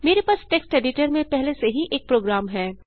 मेरे पास text editor में पहले से ही एक प्रोग्राम है